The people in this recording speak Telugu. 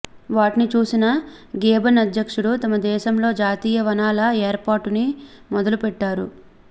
వాటిని చూసిన గేబన్ అధ్యక్షుడు తమ దేశంలో జాతీయ వనాల ఏర్పాటుని మొదలుపెట్టాడు